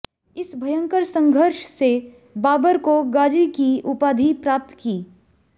इस भयंकर संघर्ष से बाबर को गाजी की उपाधि प्राप्त की